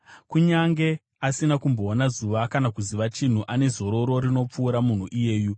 Kunyange asina kumboona zuva kana kuziva chinhu, ane zororo rinopfuura munhu iyeyu,